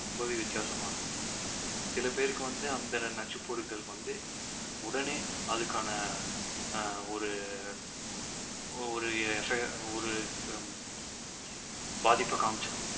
ரொம்பவே வித்தியாசமா இருக்கும் சிலபேருக்கு வந்து அந்த நச்சுப்பொருட்கள் வந்து உடனே அதுக்கான ஆஹ் ஒரு ஒரு பாதிப்பை காமிச்சிடும்